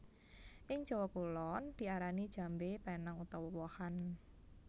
Ing Jawa Kulon diarani jambé penang utawa wohan